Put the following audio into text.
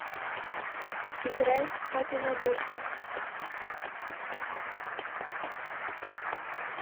играй папина дочка